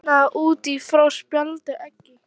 Kviknaði í út frá spældu eggi